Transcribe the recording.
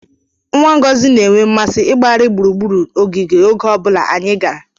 Nwa Ngozi na-enwe mmasị ịgbagharị gburugburu ogige oge ọ bụla anyị gara.